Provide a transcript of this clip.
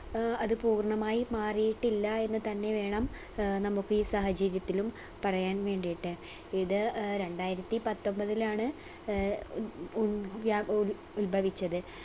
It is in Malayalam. ഏർ അത് പൂർണമായി മാറിയിട്ടില്ല എന്ന് തന്നെ വേണം ഏർ നമുക്ക് ഈ സാഹചര്യത്തിലും പറയാൻ വേണ്ടീട്ട് ഇത് ഏർ രണ്ടായിരത്തി പത്തൊമ്പതിലാണ് ഏർ ഉൽ വ്യ ഉൽ ഉൽഭവിച്ചത്.